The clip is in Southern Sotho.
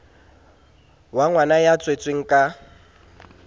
wa ngwana ya tswetsweng ka